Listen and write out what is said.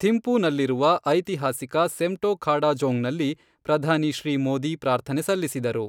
ಥಿಂಪುನಲ್ಲಿರುವ ಐತಿಹಾಸಿಕ ಸೆಮ್ಟೊಖಾಡಝೋಂಗ್ನಲ್ಲಿ ಪ್ರಧಾನಿ ಶ್ರೀ ಮೋದಿ ಪ್ರಾರ್ಥನೆ ಸಲ್ಲಿಸಿದರು.